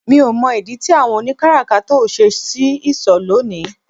Mi ò mọ̀ ìdí tí àwọn oni káràkátà ò ṣe ṣí ìsọ̀ lónìí